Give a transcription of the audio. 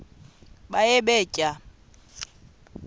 baye bee tyaa